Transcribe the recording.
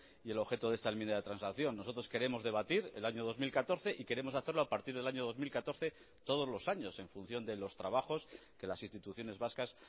y el objeto de esta enmienda de transacción nosotros queremos debatir el año dos mil catorce y queremos hacerlo a partir del año dos mil catorce todos los años en función de los trabajos que las instituciones vascas